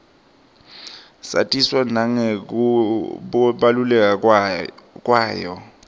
satiswa nangekubaluleka kwayo